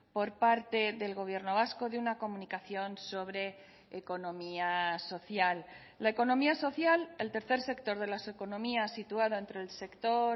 por parte del gobierno vasco de una comunicación sobre economía social la economía social el tercer sector de las economías situada entre el sector